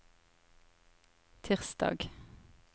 tirsdag